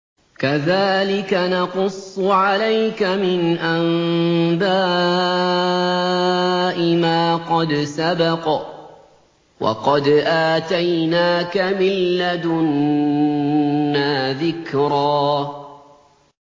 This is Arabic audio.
كَذَٰلِكَ نَقُصُّ عَلَيْكَ مِنْ أَنبَاءِ مَا قَدْ سَبَقَ ۚ وَقَدْ آتَيْنَاكَ مِن لَّدُنَّا ذِكْرًا